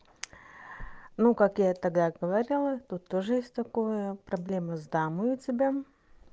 ну как я и тогда говорила тут тоже есть такое проблемы с дамой у тебя